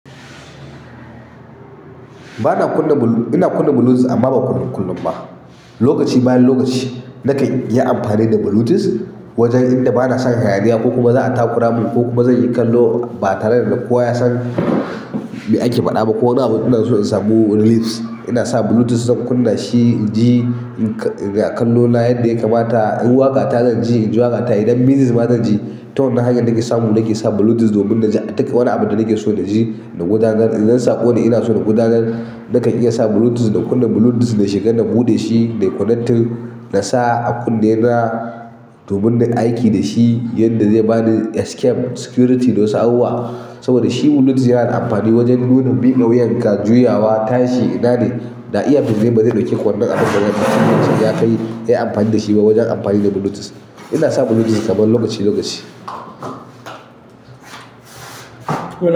Bana kunna blu-- ina kunna bluetooth amma ba kullum kullum ba. Lokaci bayan lokaci na ka yi amfani da bluetooth wajen inda bana son hayaniya ko kuma za a takura mun ko kuma zan yi kallo ba tare da kowa ya san me ake faɗa ba ko wani abu ina so in samu reliefs, ina sa bluetooth zan kunna shi in ji a kallo na yadda ya kamata. In waƙa ta zan ji, in ji waƙa ta. Idan misis ba zan ji, ta wani hanya nake samu nake sa bluetooth domin na ji wani abu da nake so na ji na gudanar. Idan na sako da ina so na gudanar, na kan iya sa bluetooth, na kunna bluetooth, na shiga, na buɗe shi, nai connecting, na sa a kunne na domin na aiki da shi yanda zai bani escape, security da wasu abubuwa. Saboda shi bluetooth yana amfani wajen nunin bi da wuyan ka, juyawa, tashi, ina ne da iyafis ba zai ɗauke wannan abun da yana da shi ya kai yayi amfani da shi ba wajen amfani da bluetooth. Ina sa bluetooth kamar lokaci lokaci.